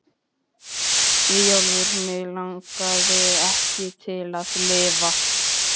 Eyjólfur Mig langaði ekki til að lifa.